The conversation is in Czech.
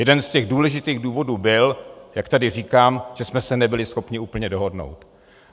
Jeden z těch důležitých důvodů byl, jak tady říkám, že jsme se nebyli schopni úplně dohodnout.